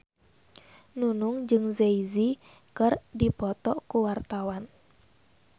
Nunung jeung Jay Z keur dipoto ku wartawan